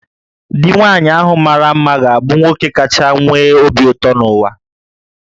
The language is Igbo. Di nwaanyị ahụ mara mma ga-abụ nwoke kacha nwee obi ụtọ n'ụwa